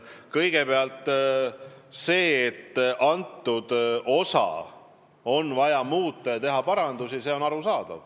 Kõigepealt, on arusaadav, et selles osas on vaja teha parandusi.